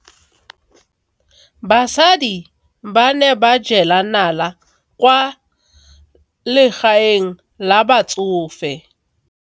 Basadi ba ne ba jela nala kwaa legaeng la batsofe.